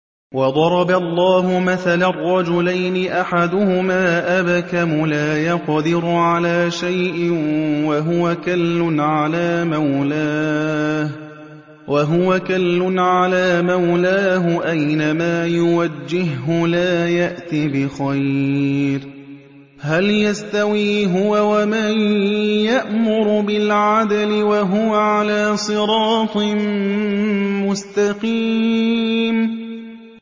وَضَرَبَ اللَّهُ مَثَلًا رَّجُلَيْنِ أَحَدُهُمَا أَبْكَمُ لَا يَقْدِرُ عَلَىٰ شَيْءٍ وَهُوَ كَلٌّ عَلَىٰ مَوْلَاهُ أَيْنَمَا يُوَجِّههُّ لَا يَأْتِ بِخَيْرٍ ۖ هَلْ يَسْتَوِي هُوَ وَمَن يَأْمُرُ بِالْعَدْلِ ۙ وَهُوَ عَلَىٰ صِرَاطٍ مُّسْتَقِيمٍ